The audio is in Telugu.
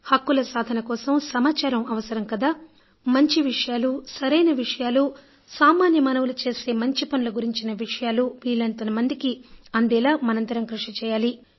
హక్కుల సాధన కోసం సమాచారం అవసరం కదా మంచి విషయాలు సరైన విషయాలు సామాన్య మానవులు చేసే మంచి పనుల గురించిన విషయాలు వీలైనంత మందికి అందేలా మనందరం కృషి చేయాలి